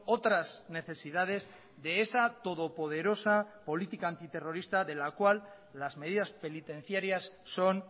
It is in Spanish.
otras necesidades de esa todopoderosa política antiterrorista de la cual las medidas penitenciarias son